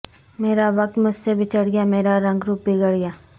مرا وقت مجھ سے بچھڑ گیا مرا رنگ روپ بگڑ گیا